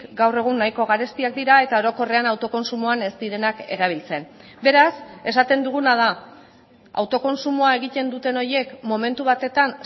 gaur egun nahiko garestiak dira eta orokorrean autokontsumoan ez direnak erabiltzen beraz esaten duguna da autokontsumoa egiten duten horiek momentu batetan